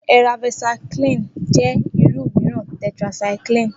Eravacycline jẹ́ irú mìíràn tetracycline